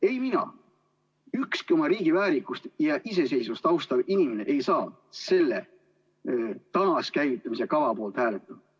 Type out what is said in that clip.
Ei mina ega ükski oma riigi väärikust ja iseseisvust austav inimene ei saa selle taaskäivitamise kava poolt hääletada.